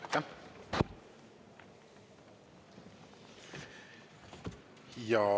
Aitäh!